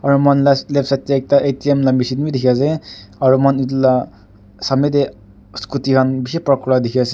aro muihan la left side tey ekta atm la machine wi dikhi ase aro muihan itula samey tey scooty han bishi park kura dikhi ase.